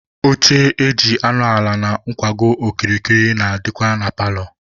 Oche eji anọ ala na ngwago okirikiri na-adịkwa na paalọ.